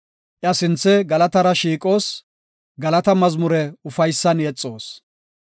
Iya sinthe galatara shiiqoos. Galata mazmure ufaysan yexoos.